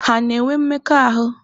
Ha na-enwe mmekọahụ?